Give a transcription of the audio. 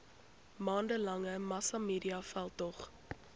maande lange massamediaveldtog